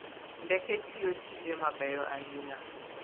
Ndeke tiyo tije mabeyo ahinya.